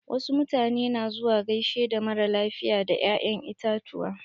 Wasu mutane na zuwa gaishe da mara lafiya da ya'yan itatuwa.